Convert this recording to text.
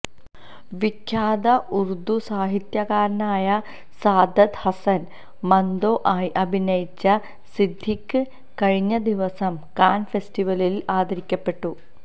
വിഖ്യാത ഉര്ദു സാഹിത്യകാരനായ സാദത് ഹസന് മന്തോ ആയി അഭിനയിച്ച സിദ്ദിഖി കഴിഞ്ഞദിവസം കാന് ഫെസ്റ്റിവലില് ആദരിക്കപ്പെട്ടു